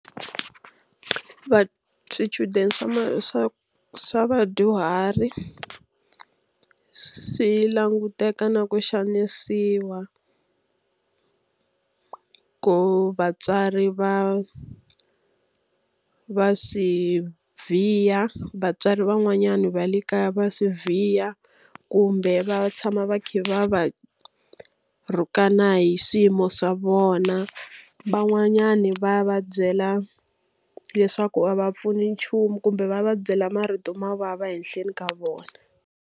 Swichudeni swa swa swa vadyuhari swi languteka na ku xanisiwa, ku vatswari va va swi vhiya, vatswari van'wanyani va le kaya va swi vhiya. Kumbe va tshama va kha va va rhukana hi swiyimo swa vona. Van'wanyani va va byela leswaku a va pfuni nchumu kumbe va va byela marito mo vava ehenhleni ka vona.